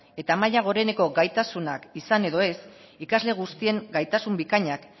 eta maila goreneko gaitasunak izan edo ez ikasle guztien gaitasun bikainak